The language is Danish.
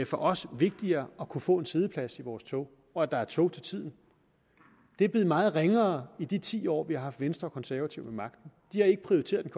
for os vigtigere at kunne få en siddeplads i vores tog og at der er tog til tiden det er blevet meget ringere i de ti år vi har haft venstre og konservative ved magten de har ikke prioriteret den